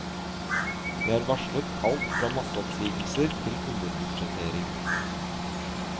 De har varslet alt fra masseoppsigelser til underbudsjettering.